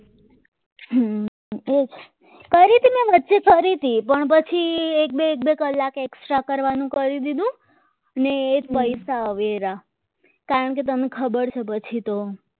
કરી તે મેં વચ્ચે કરી તી પણ પછી એક બે એક બે કલાક extra કરવાનું કરી દીધું અને એ જ પૈસા હવે રહ્યા કારણકે તને ખબર છે પછી તો